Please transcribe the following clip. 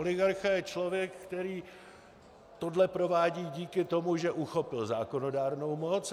Oligarcha je člověk, který tohle provádí díky tomu, že uchopil zákonodárnou moc.